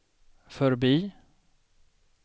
förbi